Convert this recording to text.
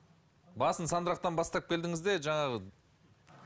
басын сандырақтан бастап келдіңіз де жаңағы